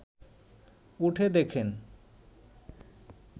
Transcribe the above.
উঠে দেখেন